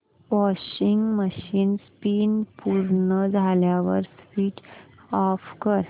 washing machine spin पूर्ण झाल्यावर switch off कर